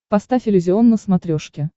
поставь иллюзион на смотрешке